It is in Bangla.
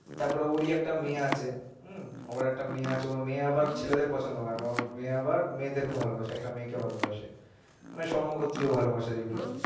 তারপর ওর ই একটা মেয়ে আছে হুম ওর একটা মেয়ে আছে, ঐ মেয়ে আবার ছেলেদের পছন্দ করেনা ঐ মেয়ে আবার মেয়েদেরকে ভালোবাসে একটা মেয়েকে ভালোবাসে মানে সমগোত্রী ভালোবাসা যেগুলো